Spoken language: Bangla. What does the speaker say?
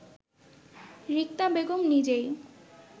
রিক্তা বেগম নিজেই